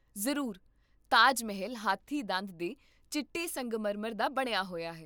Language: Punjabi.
ਜ਼ਰੂਰ, ਤਾਜ ਮਹਿਲ ਹਾਥੀ ਦੰਦ ਦੇ ਚਿੱਟੇ ਸੰਗਮਰਮਰ ਦਾ ਬਣਿਆ ਹੋਇਆ ਹੈ